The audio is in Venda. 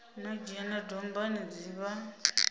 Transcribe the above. no dzhena dombani dzi vha